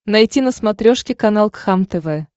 найти на смотрешке канал кхлм тв